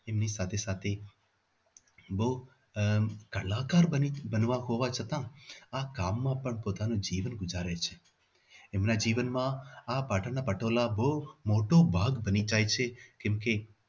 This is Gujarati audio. એમની સાથે સાથે બહુ આહ લાચાર હોવા છતાં આ કામમાં પણ પોતાનું જીવન ગુજારે છે એમના જીવનમાં આ પાટણના પટોળા બહુ મોટો ભાગ બની જાય છે કેમકે